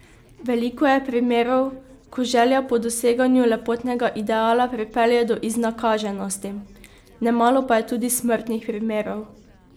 Veliko je primerov, ko želja po doseganju lepotnega ideala pripelje do iznakaženosti, nemalo pa je tudi smrtnih primerov.